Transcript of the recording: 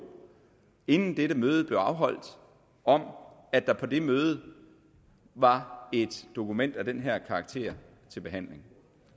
inden dette møde blev afholdt om at der på det møde var et dokument af den her karakter til behandling